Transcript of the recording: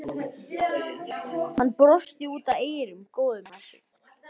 Hann brosti út að eyrum, góður með sig.